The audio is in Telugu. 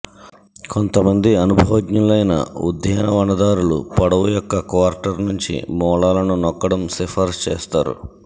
కొంతమంది అనుభవజ్ఞులైన ఉద్యానవనదారులు పొడవు యొక్క క్వార్టర్ గురించి మూలాలను నొక్కడం సిఫార్సు చేస్తారు